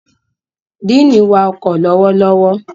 Diini wá ọkọ lọwọlọwọ.